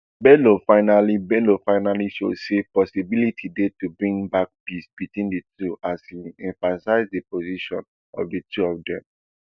bello finally bello finally show say possibility dey to bring back peace between di two as im emphasize di position of di two of dem